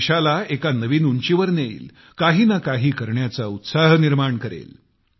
देशाला एका नवीन उंचीवर नेईल काही न काही करण्याचा उत्साह निर्माण करेल